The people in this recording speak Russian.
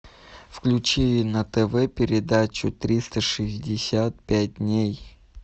включи на тв передачу триста шестьдесят пять дней